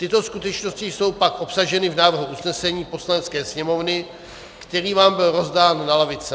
Tyto skutečnosti jsou pak obsaženy v návrhu usnesení Poslanecké sněmovny, který vám byl rozdán na lavice.